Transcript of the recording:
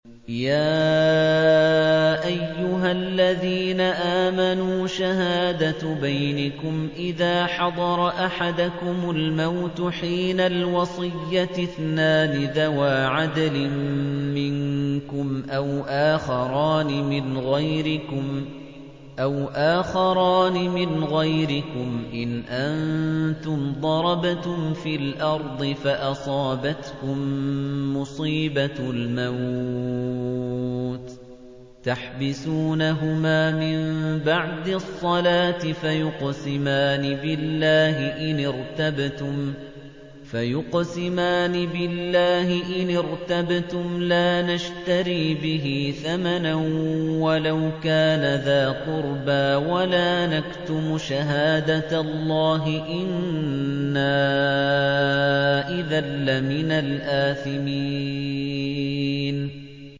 يَا أَيُّهَا الَّذِينَ آمَنُوا شَهَادَةُ بَيْنِكُمْ إِذَا حَضَرَ أَحَدَكُمُ الْمَوْتُ حِينَ الْوَصِيَّةِ اثْنَانِ ذَوَا عَدْلٍ مِّنكُمْ أَوْ آخَرَانِ مِنْ غَيْرِكُمْ إِنْ أَنتُمْ ضَرَبْتُمْ فِي الْأَرْضِ فَأَصَابَتْكُم مُّصِيبَةُ الْمَوْتِ ۚ تَحْبِسُونَهُمَا مِن بَعْدِ الصَّلَاةِ فَيُقْسِمَانِ بِاللَّهِ إِنِ ارْتَبْتُمْ لَا نَشْتَرِي بِهِ ثَمَنًا وَلَوْ كَانَ ذَا قُرْبَىٰ ۙ وَلَا نَكْتُمُ شَهَادَةَ اللَّهِ إِنَّا إِذًا لَّمِنَ الْآثِمِينَ